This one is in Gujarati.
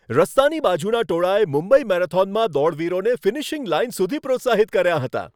રસ્તાની બાજુના ટોળાએ મુંબઈ મેરેથોનમાં દોડવીરોને ફિનિશિંગ લાઇન સુધી પ્રોત્સાહિત કર્યાં હતાં.